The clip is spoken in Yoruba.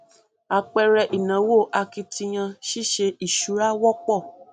àpẹẹrẹ ìnáwó akitiyan ṣíṣe ìṣura wọpọ